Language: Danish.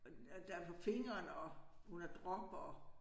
Og og der på fingeren og hun har drop og